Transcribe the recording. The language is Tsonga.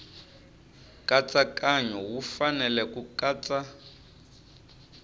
nkatsakanyo wu fanele ku katsa